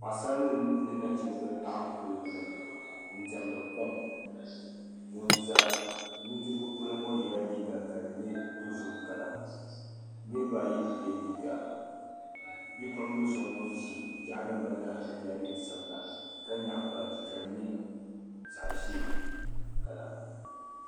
Paɣasara mini nachimba n laɣim kuliga ni n diemda kom ŋun za nudirigu ŋɔ polo yela liiga ka di nyɛ dozim "colour" niriba ayi bi ye liiga bipuɣimbili so ŋun ʒi yela neen' sabila ka nyaɣi baaji ka di nyɛ zaɣ'ʒee "colour".